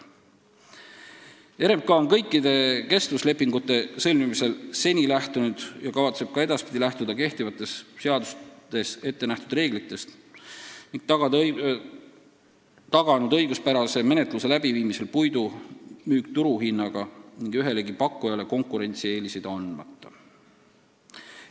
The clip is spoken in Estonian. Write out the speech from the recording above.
RMK on kõikide kestvuslepingute sõlmimisel seni lähtunud ja kavatseb ka edaspidi lähtuda kehtivatest seadustes ette nähtud reeglitest ning taganud õiguspärase menetluse läbiviimisel puidu müügi turuhinnaga ning ühelegi pakkujale konkurentsieeliseid andmata.